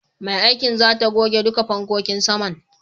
Mai aikin zata goge duka fankokin saman.